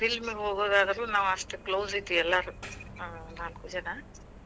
ಒಂದ್ film ಗೆ ಹೋಗೋದಾದ್ರೂ ನಾವ್ ಅಷ್ಟ close ಇದ್ವಿ ಎಲ್ಲಾರು ನಾವ್ ನಾಕು ಜನಾ.